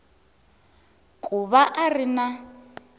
ku va a ri na